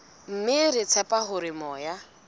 mme re tshepa hore moya